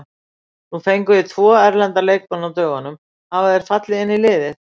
Nú fenguð þið tvo erlenda leikmenn á dögunum, hafa þeir fallið vel inn í liðið?